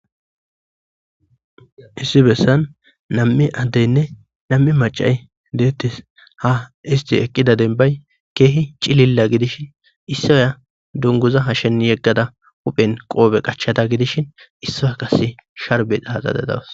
Issi bessan nam7i addeynne nam7i macay deettis ha isti eqqida dembay keehi cililla gidishin issoya dunguza hashen yeggada huphen qoobe qachata gidishin issaya kase sharbeaaxadadawas